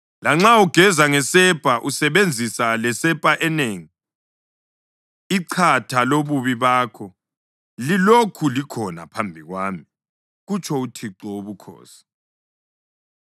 Lanxa ugeza ngesepa usebenzisa lesepa enengi, ichatha lobubi bakho lilokhu likhona phambi kwami,” kutsho uThixo Wobukhosi.